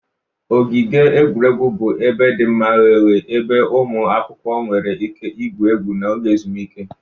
Ogige egwuregwu bụ ebe dị mma ghe oghe ebe ụmụ akwụkwọ nwere ike igwu egwu n'oge ezumike